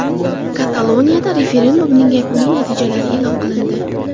Kataloniyada referendumning yakuniy natijalari e’lon qilindi.